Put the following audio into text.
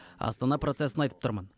астана процесін айтып тұрмын